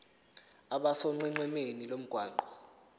abe sonqenqemeni lomgwaqo